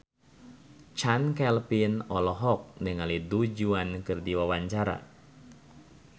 Chand Kelvin olohok ningali Du Juan keur diwawancara